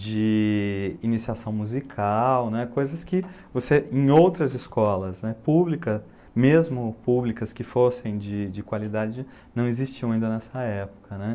de iniciação musical, né, coisas que em outras escolas, né, públicas, mesmo públicas que fossem de qualidade, não existiam ainda nessa época.